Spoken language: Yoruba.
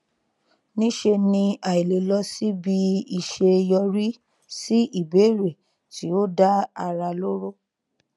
níṣe ni àìlè lọ síbi iṣẹ yọrí sí ìbéèrè tí ó dá ara lóró